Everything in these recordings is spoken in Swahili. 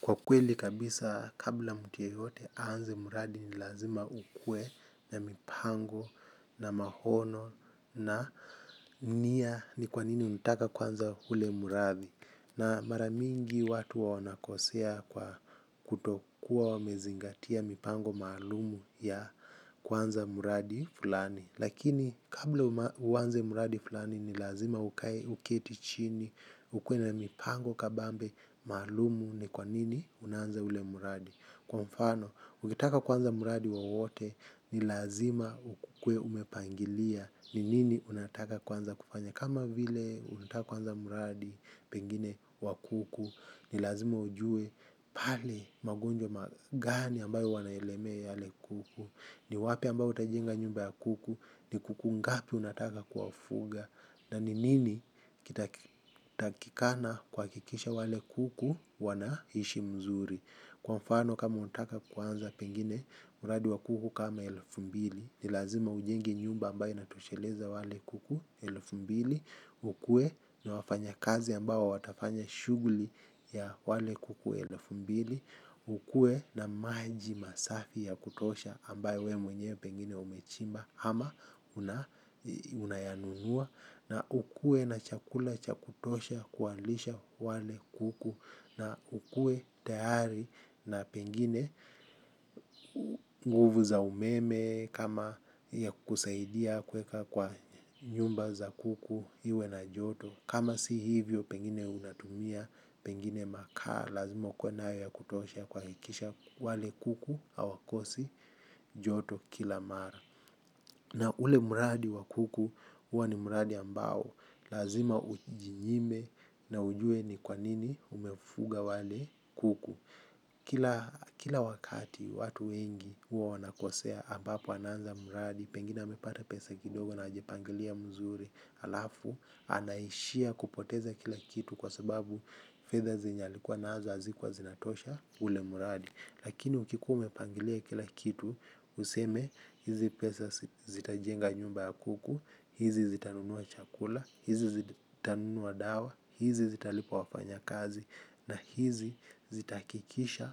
Kwa kweli kabisa kabla mtu yeyote aanze mradi ni lazima ukuwe na mipango na maono na nia ni kwanini ulitaka kwanza ule mradi. Na maramingi watu wa wanakosea kwa kutokuwa wamezingatia mipango maalumu ya kuanza mradi fulani. Lakini kabla uanze mradi fulani ni lazima ukae uketi chini, ukuwe na mipango kabambe, maalumu ni kwanini unaanza ule mradi. Kwa mfano, ukitaka kuanza mradi wowote ni lazima ukuwe umepangilia ni nini unataka kuanza kufanya. Kama vile unataka kuanza mradi pengine wa kuku, ni lazima ujue pale magonjwa magani ambayo huwa yanaelemea yale kuku. Ni wapi ambapo utajenga nyumba ya kuku, ni kuku ngapi unataka kuwafuga na ni nini kitatakikana kuhakikisha wale kuku wanaishi mzuri kwa mfano kama unataka kuanza pengine mradi wa kuku kama elfu mbili ni lazma ujenge nyumba ambayo inatosheleza wale kuku elfu mbili. Ukuwe na wafanya kazi ambao watafanya shughuli ya wale kuku elfu mbili ukuwe na maji masafi ya kutosha ambayo wewe mwenyewe pengine umechimba ama unayanunua, kukuwe na chakula cha kutosha wale kuku na ukuwe tayari na pengine nguvu za umeme kama ya kusaidia kuweka kwa nyumba za kuku iwe na joto. Kama si hivyo pengine unatumia, pengine makaa, lazima ukuwe nayo ya kutosha kuhahikisha wale kuku hawakosi joto kila mara. Na ule mradi wa kuku, huwa ni mradi ambao, lazima ujinyime na ujue ni kwanini umefuga wale kuku. Kila wakati, watu wengi huwa wanakosea, ambapo anaanza mradi, pengine amepata pesa kidogo na hajapangilia mzuri alafu anaishia kupoteza kila kitu kwa sababu fedha zenye alikuwa nazo hazikuwa zinatosha ule mradi. Lakini ukikuwa umepangilia kila kitu tuseme hizi pesa zitajenga nyumba ya kuku, hizi zitanunua chakula, hizi zitanunua dawa, hizi zitalipa wafanyakazi. Na hizi zitakikisha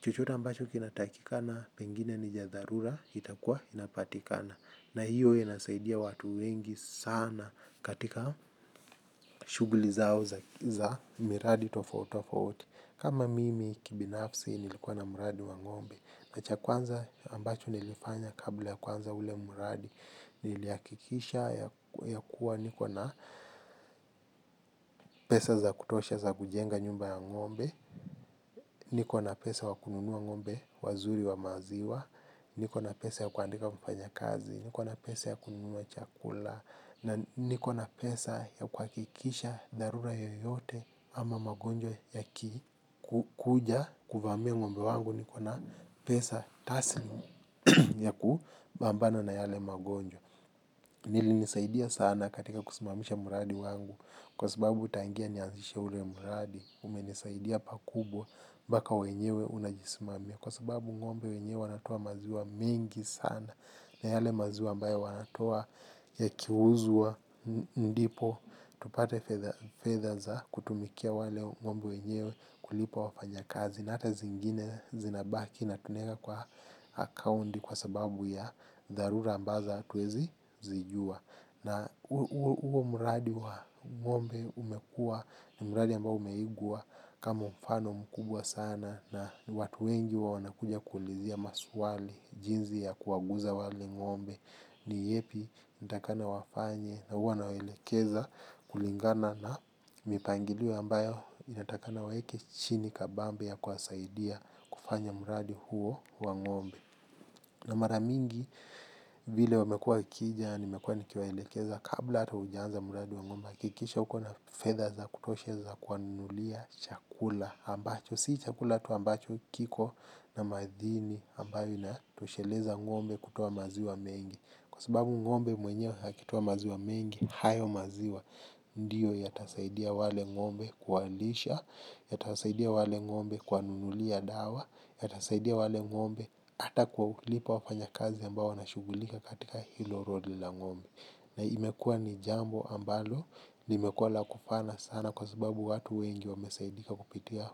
chochote ambacho kinatakika na pengine ni dharura itakua inapatikana na hiyo inasaidia watu wengi sana. Katika shughuli zao za miradi tofauti tofauti kama mimi kibinafsi nilikuwa na mradi wa ng'ombe. Na cha kwanza ambacho nilifanya kabla ya kwanza ule mradi nilihakikisha ya kuwa niko na pesa za kutosha za kujenga nyumba ya ng'ombe. Niko na pesa wa kununua ngombe wazuri wa maziwa niko na pesa ya kuwalipa wafanyakazi, niko na pesa ya kununua chakula na niko na pesa ya kuhakikisha dharura yoyote ama magonjwa yakikuja kuvamia ng'ombe wangu niko pesa taslimu ya kupambana na yale magonjwa ilinisaidia sana katika kusimamisha mradi wangu kwa sababu tangia niazishe ule mradi umenisaidia pakubwa mpaka wenyewe unajisimamia. Kwa sababu ng'ombe wenyewe wanatoa maziwa mengi sana na yale maziwa ambae wanatoa yakiuzwa ndipo tupate fedha kutumikia wale ng'ombe wenyewe kulipa wafanyakazi na hata zingine zinabaki na tunawela kwa account kwa sababu ya dharura ambazo hatuwezi zijua na huo mradi wa ng'ombe umekua ni mradi ambao umeigwa kama mfano mkubwa sana na watu wengi huwa wanakuja kuulizia maswali jinsi ya kuaguza wale ng'ombe yepi litakalowafanya huwa nawaelekeza kulingana na mipangilio ambayo inataka niwaweke chini kabambe ya kuwasaidia kufanya mradi huo wa ng'ombe. Na mara mingi vile wamekua wakija nimekua nikiwaelekeza, kabla hata ujaanza mradi wa ng'ombe, hakikisha huko na fedha za kutosha za kuwanunulia chakula ambacho. Si chakula tu ambacho kiko na madini ambayo inatosheleza ng'ombe kutoa maziwa mengi. Kwa sababu ng'ombe mwenyewe kutoa maziwa mengi, hayo maziwa. Ndiyo yatasaidia wale ng'ombe kuwalisha, yatasaidia wale ng'ombe kuwanunulia dawa, yatasaidia wale ng'ombe ata kuwalipa wafanyakazi ambao na shughulika katika hilo rodi la ng'ombe. Na imekuwa ni jambo ambalo, nimekuwa la kufana sana kwa sababu watu wengi wamesaidika kupitia.